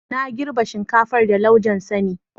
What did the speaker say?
Na girbe shinkafar da laujen sani.